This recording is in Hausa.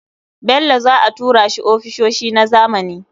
Bello za a tura shi ofisoshi na zamani.